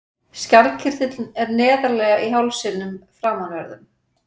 Skjaldkirtillinn er neðarlega í hálsinum framanverðum.